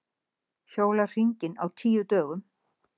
Hjóla hringinn á tíu dögum